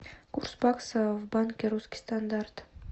курс бакса в банке русский стандарт